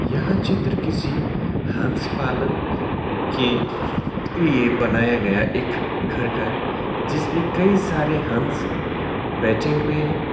यह चित्र किसी हंस पालन के लिए बनाया गया एक घर का है जिसमें कई सारे हंस बैठे हुए हैं।